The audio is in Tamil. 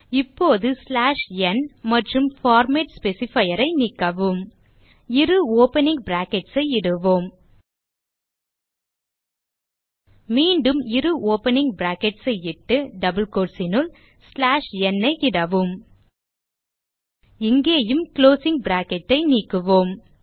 இப்போது n மற்றும் பார்மேட் specifier ஐ நீக்கவும் இரு ஓப்பனிங் பிராக்கெட்ஸ் ஐ இடுவோம் மீண்டும் இரு ஓப்பனிங் பிராக்கெட்ஸ் ஐ இட்டு டபிள் கோட்ஸ் னுள் n ஐ இடவும் இங்கேயும் குளோசிங் பிராக்கெட் ஐ நீக்குவோம்